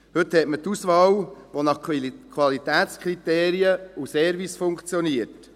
Heute hat man die Auswahl, die nach Qualitätskriterien und Service funktioniert.